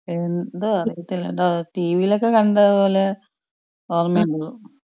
എന്താ അറിയത്തില്ലടാ ട്ടിവിയിലൊക്കെ കണ്ടത് പോലെ ഓർമണ്ടു.